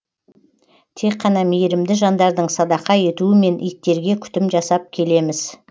тек қана мейірімді жандардың садақа етуімен иттерге күтім жасап келеміз